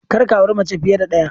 Kar ka aure mace fiye da ɗaya!